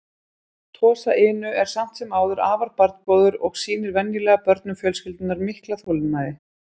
Tosa Inu er samt sem áður afar barngóður og sýnir venjulega börnum fjölskyldunnar mikla þolinmæði.